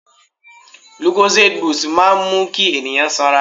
Lucozade boost máa ń mú kí ènìyàn sanra.